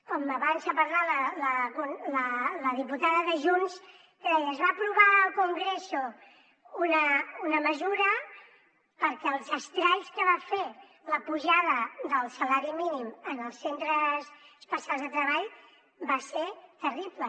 com abans ha parlat la diputada de junts que deia es va aprovar al congreso una mesura perquè els estralls que va fer la pujada del salari mínim en els centres especials de treball va ser terrible